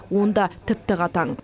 онда тіпті қатаң